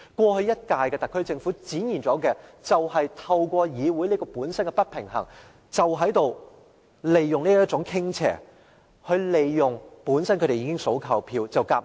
過去一屆的特區政府正是透過議會本身的不平衡，利用這種傾斜，"數夠票"便強行通過政府議案或法案。